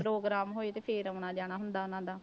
Programme ਹੋਏ ਤੇ ਫਿਰ ਆਉਣਾ ਜਾਣਾ ਹੁੰਦਾ ਉਹਨਾਂ ਦਾ।